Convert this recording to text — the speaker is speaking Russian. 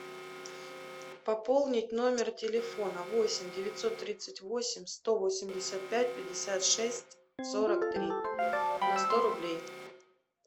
пополнить номер телефона восемь девятьсот тридцать восемь сто восемьдесят пять пятьдесят шесть сорок три на сто рублей